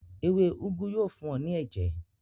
Ewé úgú yóò fún ọ ní ẹ̀jẹ̀.